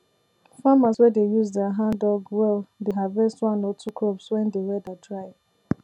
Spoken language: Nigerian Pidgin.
farmers wey dey use their handdug well dey harvest one or two crops when de weather dry